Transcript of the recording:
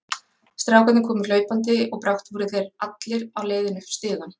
Strákarnir komu hlaupandi og brátt voru þeir allir á leiðinni upp stigann.